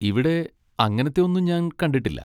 ഇവിടെ അങ്ങനത്തെ ഒന്നും ഞാൻ കണ്ടിട്ടില്ല.